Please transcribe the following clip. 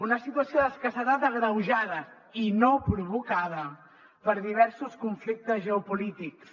una situació d’escassetat agreuja da i no provocada per diversos conflictes geopolítics